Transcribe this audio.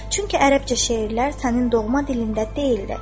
"Çünki ərəbcə şeirlər sənin doğma dilində deyildir."